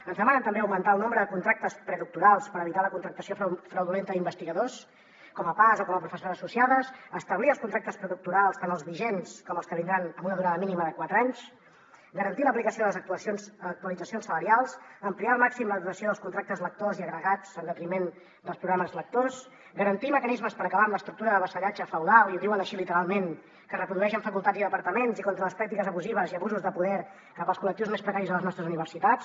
ens demanen també augmentar el nombre de contractes predoctorals per evitar la contractació fraudulenta d’investigadors com a pas o com a professores associades establir els contractes predoctorals tant els vigents com els que vindran amb una durada mínima de quatre anys garantir l’aplicació de les actualitzacions salarials ampliar al màxim la duració dels contractes lectors i agregats en detriment dels programes lectors garantir mecanismes per acabar amb l’estructura de vassallatge feudal i ho diuen així literalment que es reprodueix en facultats i departaments i contra les pràctiques abusives i abusos de poder cap als col·lectius més precaris a les nostres universitats